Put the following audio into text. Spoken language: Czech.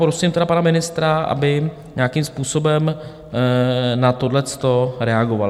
Poprosím tedy pana ministra, aby nějakým způsobem na tohle reagoval.